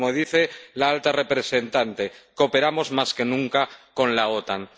O, como dice la alta representante, cooperamos más que nunca con la OTAN.